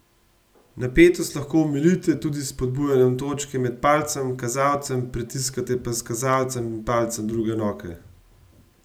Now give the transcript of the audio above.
Napetost lahko omilite tudi s spodbujanjem točke med palcem in kazalcem, pritiskate pa s kazalcem in palcem druge roke.